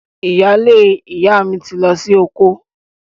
Ìyaalé ìyá mi ti lọ sí oko